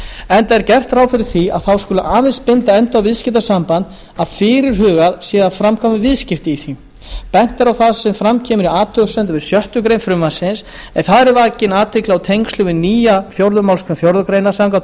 enda er gert ráð fyrir því að þá aðeins skuli binda enda á viðskiptasamband að fyrirhugað sé að framkvæma viðskipti í því bent er á það sem fram kemur í athugasemdum við sjöttu greinar frumvarpsins en þar er vakin athygli á tengslum við nýja fjórðu málsgrein fjórðu greinar samkvæmt